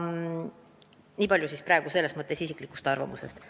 Nii palju minu isiklikust arvamusest.